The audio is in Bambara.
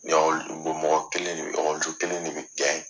Ya mɔgɔ kelen de bɛ kelen de bɛ